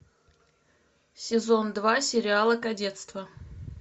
сезон два сериала кадетство